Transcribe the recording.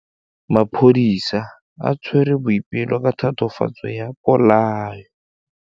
Maphodisa a tshwere Boipelo ka tatofatsô ya polaô.